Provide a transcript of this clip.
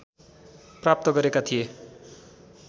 प्राप्त गरेका थिए